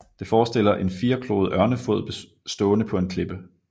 Det forestiller en firekloet ørnefod stående på en klippe